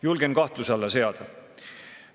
Julgen selle kahtluse alla seada.